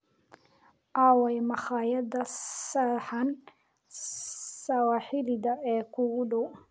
Aaway makhaayadda saxan sawaaxiliga ee kuugu dhow?